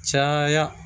Caya